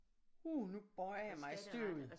Uh nu bøjer jeg mig støvet